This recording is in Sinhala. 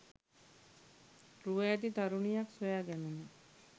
රුව ඇති තරුණියක් සොයා ගැනුණා.